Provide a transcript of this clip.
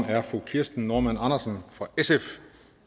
er fru kirsten normann andersen fra sf